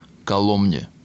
коломне